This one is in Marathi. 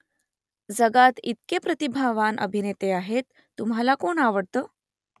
जगात इतके प्रतिभावान अभिनेते आहेत तुम्हाला कोण आवडतं ?